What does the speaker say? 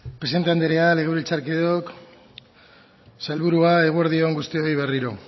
presidente anderea legebiltzarkideok sailburua eguerdi on guztioi berriro